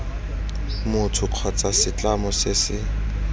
motho kgotsa setlamo se se